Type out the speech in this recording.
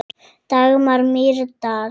Dagmar Mýrdal.